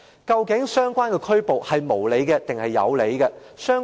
究竟相關的拘捕是無理還是有理？